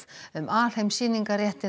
um alheimssýningarréttinn